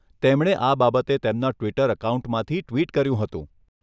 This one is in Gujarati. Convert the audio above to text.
તેમણે આ બાબતે તેમના ટ્વીટર અકાઉન્ટમાંથી ટ્વિટ કર્યું હતું.